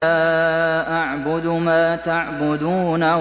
لَا أَعْبُدُ مَا تَعْبُدُونَ